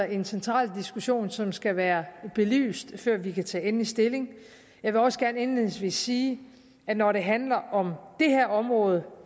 en central diskussion som skal være belyst før vi kan tage endelig stilling jeg vil også gerne indledningsvis sige at når det handler om det her område